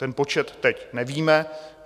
Ten počet teď nevíme.